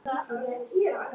Hvað viltu mér?